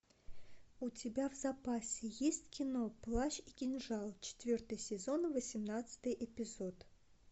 у тебя в запасе есть кино плащ и кинжал четвертый сезон восемнадцатый эпизод